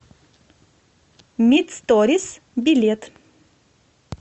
мит сторис билет